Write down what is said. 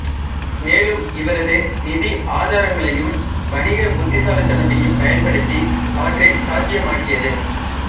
மேலும் இவரது நிதி ஆதாரங்களையும் வணிக புத்திசாலித்தனத்தையும் பயன்படுத்தி அவற்றை சாத்தியமாக்கியது